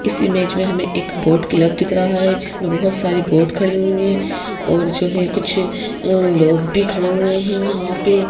इस इमेज में हमें एक बोट क्लब दिख रहा है जिसमें बहुत सारी बोट खड़ी हुई हैं और जो है कुछ अह लोग भी खड़े हुए हैं वहां पे।